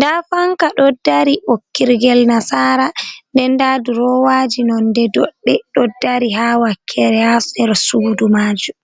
da fanka ɗo dari ɓokkirgel nasara den da durowaji nonɗe dodɗe ɗo dari ha wakkere ha her sudu majum.